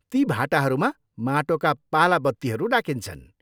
ती भाटाहरूमा माटोका पाला बत्तीहरू राखिन्छन्।